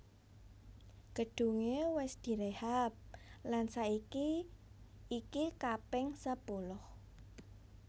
Gedunge wis direhab lan saiki iki kaping sepuluh